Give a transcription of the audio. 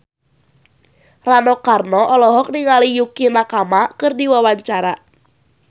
Rano Karno olohok ningali Yukie Nakama keur diwawancara